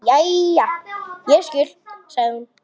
Jæja, ég skil, sagði hún.